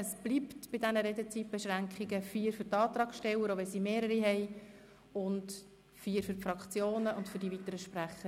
Es bleibt bei den Redezeitbeschränkungen von 4 Minuten für die Antragsteller, auch wenn es mehrere sind, 4 Minuten für die Fraktionen sowie jeweils 2 Minuten für die weiteren Sprecher.